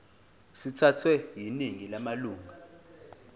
sithathwe yiningi lamalunga